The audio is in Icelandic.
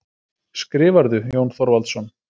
Skrifarðu, Jón Þorvaldsson?